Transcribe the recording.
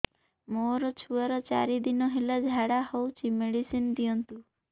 ମୋର ଛୁଆର ଚାରି ଦିନ ହେଲା ଝାଡା ହଉଚି ମେଡିସିନ ଦିଅନ୍ତୁ